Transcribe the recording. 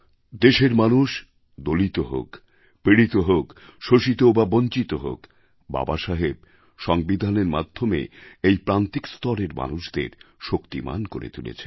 দেশের মানুষ দলিত হোক পীড়িত হোক শোষিত বা বঞ্চিত হোক বাবা সাহেব সংবিধানের মাধ্যমে এই প্রান্তিক স্তরের মানুষদের শক্তিমান করে তুলেছেন